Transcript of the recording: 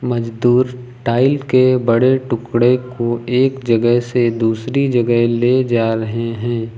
मजदूर टाइल के बड़े टुकड़े को एक जगह से दूसरी जगह ले जा रहे हैं।